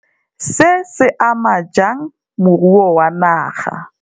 Se, se ama jang moruo wa naga?